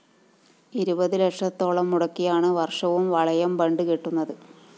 ഇരുപത് ലക്ഷത്തോളം മുടക്കിയാണ് വര്‍ഷവും വളയം ബണ്ട് കെട്ടുന്നത്